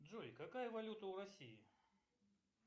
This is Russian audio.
джой какая валюта у россии